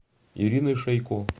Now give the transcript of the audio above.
ириной шейко